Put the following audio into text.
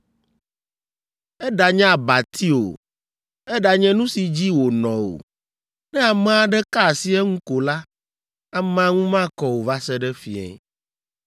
Eɖanye abati o, eɖanye nu si dzi wònɔ o, ne ame aɖe ka asi eŋu ko la, amea ŋu makɔ o va se ɖe fiẽ.